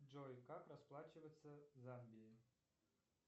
джой как расплачиваться в замбии